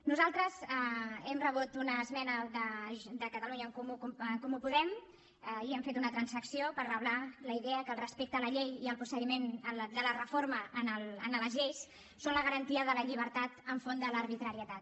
nosaltres hem rebut una esmena de catalunya en comú podem i hem fet una transacció per reblar la idea que el respecte a la llei i el procediment de la reforma en les lleis són la garantia de la llibertat enfront de l’arbitrarietat